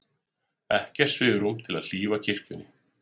Ekkert svigrúm til að hlífa kirkjunni